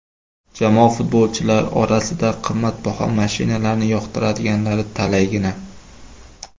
Jamoa futbolchilari orasida qimmatbaho mashinalarni yoqtiradiganlari talaygina.